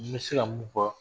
N bɛ se ka mun fɔ